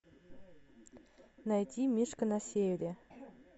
найти мишка на севере